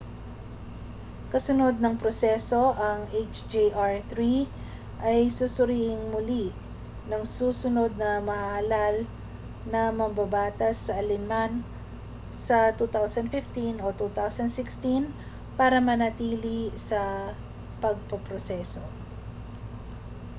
kasunod ng proseso ang hjr-3 ay susuriing muli ng susunod na mahahalal na mambabatas sa alin man sa 2015 o 2016 para manatili sa pagpoproseso